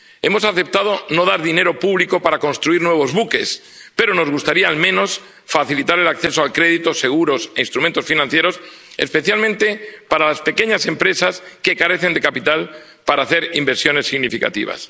Hemos aceptado no dar dinero público para construir nuevos buques, pero nos gustaría, al menos, facilitar el acceso al crédito, a los seguros y a los instrumentos financieros, especialmente para las pequeñas empresas que carecen de capital para hacer inversiones significativas.